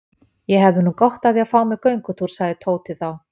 Ég hefði nú gott af því að fá mér göngutúr sagði Tóti þá.